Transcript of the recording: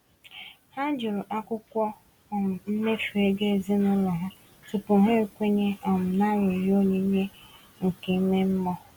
Ha jụrụ akwụkwọ um mmefu ego ezinụlọ ha tupu ha ekwenye um na arịrịọ onyinye nke ime mmụọ.